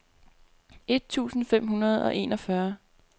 et tusind fem hundrede og enogfyrre